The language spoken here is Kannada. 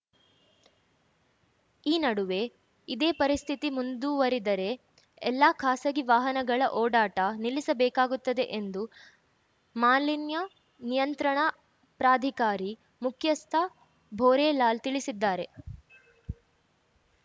ಈ ನಡುವೆ ಇದೇ ಪರಿಸ್ಥಿತಿ ಮುಂದುವರಿದರೆ ಎಲ್ಲಾ ಖಾಸಗಿ ವಾಹನಗಳ ಓಡಾಟ ನಿಲ್ಲಿಸಬೇಕಾಗುತ್ತದೆ ಎಂದು ಮಾಲಿನ್ಯ ನಿಯಂತ್ರಣ ಪ್ರಾಧಿಕಾರಿ ಮುಖ್ಯಸ್ಥ ಭೂರೇಲಾಲ್‌ ತಿಳಿಸಿದ್ದಾರೆ